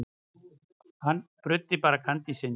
Hann bruddi bara kandísinn.